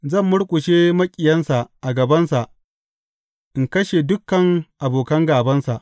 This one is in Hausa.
Zan murƙushe maƙiyansa a gabansa in kashe dukan abokan gābansa.